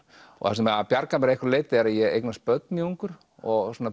það sem bjargar mér að einhverju leyti er að ég eignast börn mjög ungur og